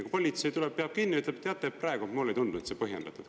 Kui politsei tuleb, peab kinni, ütlen, et teate praegu mulle ei tundu, et see on põhjendatud.